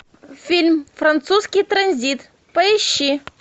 фильм французский транзит поищи